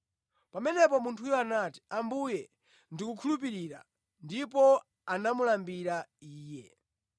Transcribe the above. Pamenepo munthuyo anati, “Ambuye, ndikukhulupirira,” ndipo anamulambira Iye.